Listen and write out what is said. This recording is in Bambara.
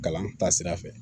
Kalan taasira fɛ